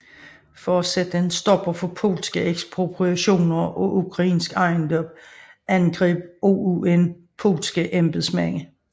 For at sætte en stopper for polske ekspropriationer af ukrainsk ejendom angreb OUN polske embedsmænd